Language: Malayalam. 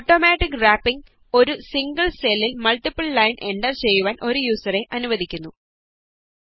ഓട്ടോമാറ്റിക് റാപ്പിങ് ഒരു സിംഗിള് സെല്ലില് മള്ട്ടിപ്പില് ലൈന്സ് എന്റര് ചെയ്യുവാന് ഒരു യൂസറെ അനുവദിക്കുന്നു